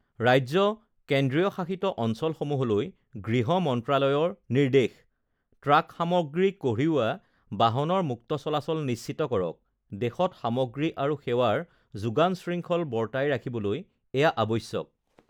ৰাজ্য, কেন্দ্ৰীয় শাসিত অঞ্চলসমূহলৈ গৃহ মন্ত্ৰালয়ৰ নিৰ্দেশঃ ট্ৰাক সামগ্ৰী কঢ়িওৱা বাহনৰ মুক্ত চলাচল নিশ্চিত কৰক, দেশত সামগ্ৰী আৰু সেৱাৰ যোগান শৃংখল বৰ্তাই ৰাখিবলৈ এয়া আৱশ্যক